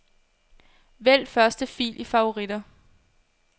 Vælg første fil i favoritter.